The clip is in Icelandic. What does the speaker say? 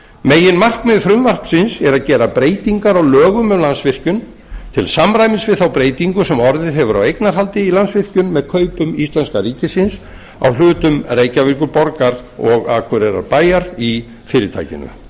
meginmarkmið frumvarpsins er að gera breytingar á lögum um landsvirkjun til samræmis við þá breytingu sem orðið hefur á eignarhaldi í landsvirkjun með kaupum íslenska ríkisins á hlutum reykjavíkurborgar og akureyrarbæjar í fyrirtækinu